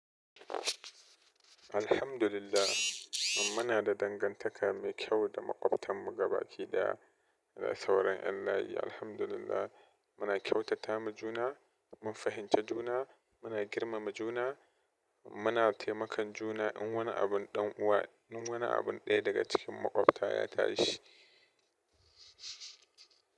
Alhamdulillah, muna da dangantaka mai kyau da maƙwabtanmu gabaki ɗaya. Da sauran yan layi Alhamdulillah muna kyautatama juna, mun fahimci juna, muna girmama juna, muna taimakan juna in wani abun dan uwa in wanin abun daya daga cikin makwabta ya tashi.